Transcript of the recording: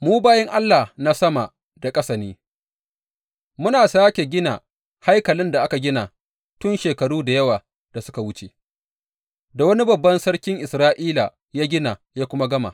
Mu bayin Allah na sama da ƙasa ne, muna sāke gina haikalin da aka gina tun shekaru da yawa da suka wuce, da wani babban sarkin Isra’ila ya gina ya kuma gama.